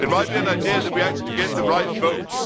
It might be an idea that we actually get the right votes.